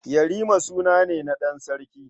Yarima suna ne na ɗan sarki.